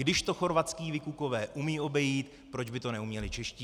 Když to chorvatští vykukové umějí obejít, proč by to neuměli čeští.